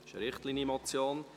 Es ist eine Richtlinienmotion.